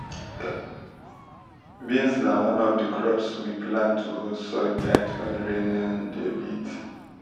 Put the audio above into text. um beans na one of di crops we plant to hold soil tight when rain um dey beat.